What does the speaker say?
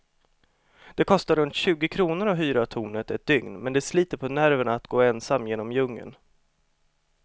Det kostar runt tjugo kronor att hyra tornet ett dygn, men det sliter på nerverna att gå ensam genom djungeln.